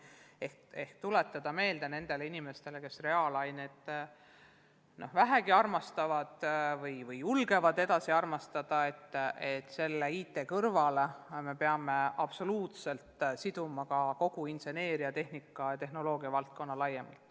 Püüame tuletada meelde nendele inimestele, kes reaalained vähegi armastavad, et IT-valdkonna kõrval me peame laiemalt arendama ka kogu inseneeria-, tehnika- ja tehnoloogiavaldkonda.